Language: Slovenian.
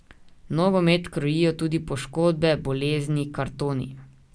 Nogomet krojijo tudi poškodbe, bolezni, kartoni.